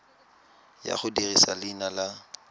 ya go dirisa leina la